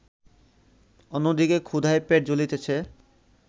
অন্যদিকে ক্ষুধায় পেট জ্বলিতেছে